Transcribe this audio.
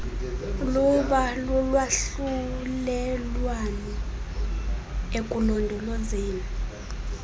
luba lulwahlulelwano ekulondolozeni